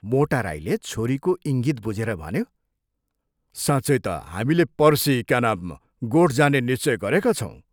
मोटा राईले छोरीको इङ्गित बुझेर भन्यो, " साँच्चै ता हामीले पर्सि, क्या नाम गोठ जाने निश्चय गरेका छौं।